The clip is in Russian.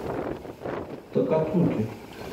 такацуки